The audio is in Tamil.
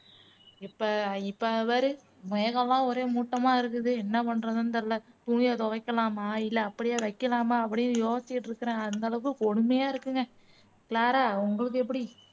இப்போ இப்போ பாரு மேகம் எல்லாம் ஒரே மூட்டமா இருக்குது என்ன பண்றதுன்னு தெரியல துணியை துவைக்கலாமா இல்ல அப்படியே வைக்கலாமா அப்படின்னு யோசிச்சிட்டு இருக்குறேன் அந்த அளவுக்கு கொடுமையா இருக்குங்க க்ளாரா உங்களுக்கு எப்படி